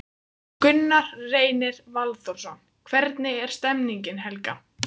Gunnar Reynir Valþórsson: Hvernig er stemningin Helga?